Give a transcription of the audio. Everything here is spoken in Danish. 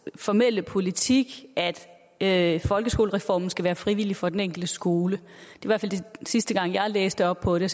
formelle politik at folkeskolereformen skal være frivillig for den enkelte skole sidste gang jeg læste op på det